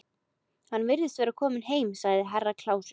Hann virðist vera kominn, sagði Herra Kláus.